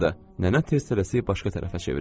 Nənə tez-tələsik başqa tərəfə çevrildi.